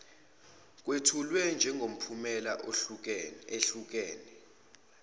kwethulwe njengemiphumela ehlukene